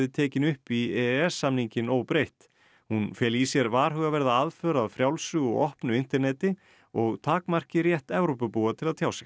tekin upp í e e s samninginn óbreytt hún feli í sér varhugaverða aðför að frjálsu og opnu interneti og takmarki rétt Evrópubúa til að tjá sig